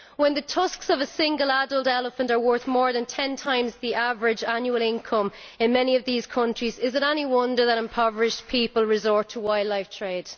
When the tusks of a single adult elephant are worth more than ten times the average annual income in many of these countries, is it any wonder that impoverished people resort to wildlife trade?